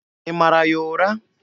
Ị mara ya ụra?